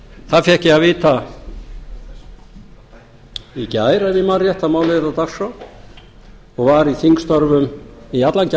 það fékk ég að vita í gær ef ég man rétt að málið yrði á dagskrá og var í þingstörfum í allan